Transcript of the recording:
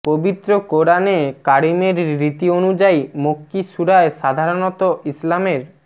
পবিত্র কোরআনে কারিমের রীতি অনুযায়ী মক্কি সূরায় সাধারণত ইসলামের